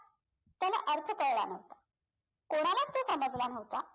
त्याला अर्थ कळला नवता कोणालाच तो समजला नवता